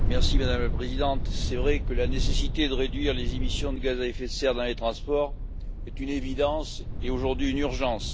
Madame la Présidente, il est vrai que la nécessité de réduire les émissions de gaz à effet de serre dans les transports est une évidence et, aujourd'hui, une urgence.